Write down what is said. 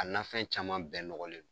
A nanfɛn caman bɛɛ nɔgɔlen don.